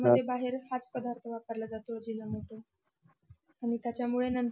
बाहेर हाच पदार्थ वापरला जातो अजिनोमोटो आणि त्याच्या मुळे नन्तर